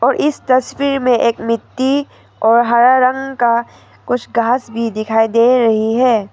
इस तस्वीर में एक मिट्टी और हरा रंग का कुछ घास भी दिखाई दे रही है।